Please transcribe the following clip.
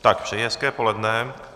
Tak, přeji hezké poledne.